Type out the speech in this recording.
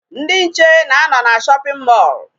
Ndị nche na-anọ na shopping mall.